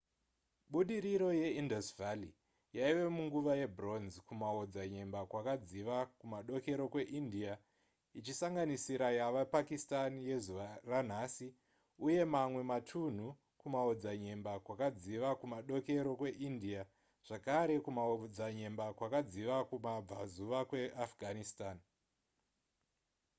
budiriro ye indus valley yaive yemunguva yebronze kumaodzanyemba kwakadziva kumadokero kweindia ichisanganisira yava pakistan yezuva ranhasi uye mamwe matunhu kumaodzanyemba kwakadziva kumadokero kweindia zvakare kumaodzanyemba kwakadziva kumabvazuva kweafghanistan